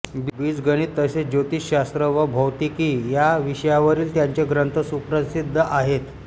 बीजगणित तसेच ज्योतिषशास्त्र व भौतिकी या विषयांवरील त्यांचे ग्रंथ सुप्रसिद्ध आहेत